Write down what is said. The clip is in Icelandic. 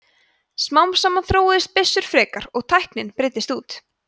smám saman þróuðust byssur frekar og tæknin breiddist út